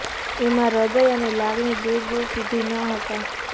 એમાં હૃદય અને લાગણી દૂર દૂર સુધી ન હતા